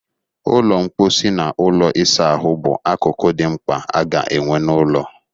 Ụlọ mkposi na ụlọ ịsa ahụ bụ akụkụ dị mkpa aga-enwe n'ụlọ